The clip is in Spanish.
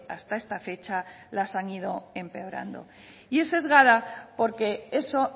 hasta esta fecha las han ido empeorando y es sesgada porque eso